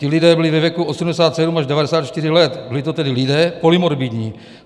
Ti lidé byli ve věku 87 až 94 let, byli to tedy lidé polymorbidní.